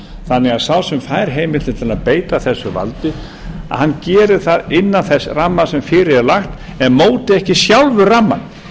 þannig að sá sem fær heimild til að beita þessu valdi gerir það innan þess ramma sem fyrir er lagt en móti ekki sjálfur rammann